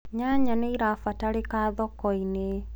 nyanya nĩirabatarika thoko-inĩ